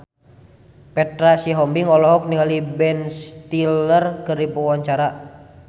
Petra Sihombing olohok ningali Ben Stiller keur diwawancara